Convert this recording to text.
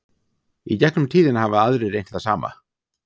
í gegnum tíðina hafa aðrir reynt það sama